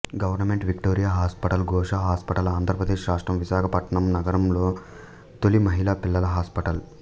government Victoria hospital Gosha hospital Andhra Pradesh రాష్ట్రం విశాఖపట్నం నగరంలో తొలి మహిళా పిల్లల హాస్పిటల్